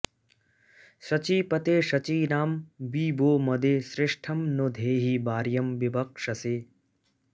शचीपते शचीनां वि वो मदे श्रेष्ठं नो धेहि वार्यं विवक्षसे